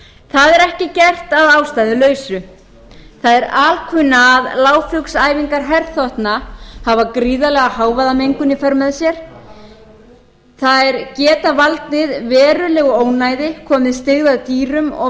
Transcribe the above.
það er ekki gert að ástæðulausu það er alkunna að lágflugsæfingar herþotna hafa gríðarlega hávaðamengun í för með sér þær geta valdið verulegu ónæði komið styggð að dýrum og